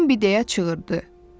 Bimbi deyə çığırdı: Bim!